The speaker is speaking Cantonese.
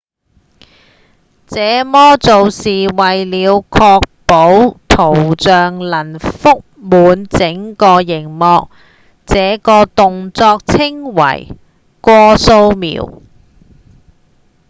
這麼做是為了確保圖像能蓋滿整個螢幕這個動作稱為「過掃描」